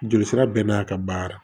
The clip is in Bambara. Joli sira bɛɛ n'a ka baara